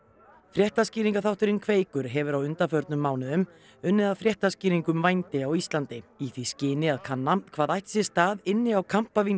fréttaskýringaþátturinn Kveikur hefur á undanförnum mánuðum unnið að fréttaskýringu um vændi á Íslandi í því skyni að kanna hvað ætti sér stað inni á